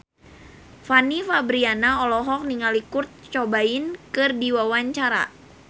Fanny Fabriana olohok ningali Kurt Cobain keur diwawancara